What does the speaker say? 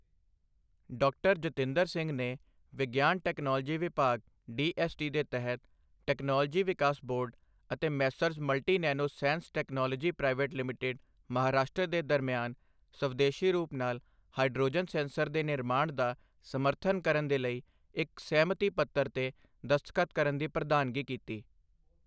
ਡਾ. ਜਿਤੇਂਦਰ ਸਿੰਘ ਵਿਗਿਆਨ ਟੈਕਨੋਲੋਜੀ ਵਿਭਾਗ ਡੀਐੱਸਟੀ ਦੇ ਤਹਿਤ ਟੈਕਨੋਲੋਜੀ ਵਿਕਾਸ ਬੋਰਡ ਅਤੇ Messrs multi nano sense technologies private limited Maharashtra ਦੇ ਦਰਮਿਆਨ ਸਵਦੇਸ਼ੀ ਰੂਪ ਨਾਲ ਹਾਈਡ੍ਰੋਜਨ ਸੈਂਸਰ ਦੇ ਨਿਰਮਾਣ ਦਾ ਸਮਰਥਨ ਕਰਨ ਦੇ ਲਈ ਇੱਕ ਸਹਿਮਤੀ ਪੱਤਰ ਤੇ ਦਸਤਖਤ ਕਰਨ ਦੀ ਪ੍ਰਧਾਨਗੀ ਕੀਤੀ